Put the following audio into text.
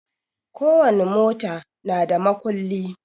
Ko wani mota na da makulli